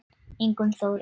Ingunn Þóra.